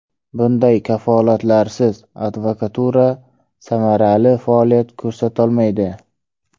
Bunday kafolatlarsiz advokatura samarali faoliyat ko‘rsatolmaydi.